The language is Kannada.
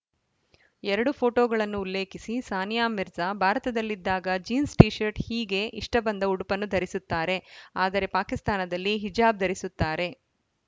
ಎರಡು ಫೋಟೋಗಳನ್ನು ಉಲ್ಲೇಖಿಸಿ ಸಾನಿಯಾ ಮಿರ್ಜಾ ಭಾರತದಲ್ಲಿದ್ದಾಗ ಜೀನ್ಸ್‌ ಟಿಶರ್ಟ್‌ ಹೀಗೆ ಇಷ್ಟಬಂದ ಉಡುಪನ್ನು ಧರಿಸುತ್ತಾರೆ ಆದರೆ ಪಾಕಿಸ್ತಾನದಲ್ಲಿ ಹಿಜಾಬ್‌ ಧರಿಸುತ್ತಾರೆ